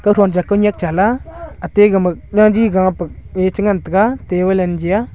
katho atai ga ma jagi ga pe ngan taiga table .